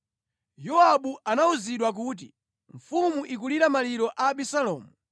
Yowabu anawuzidwa kuti, “Mfumu ikulira maliro a Abisalomu.”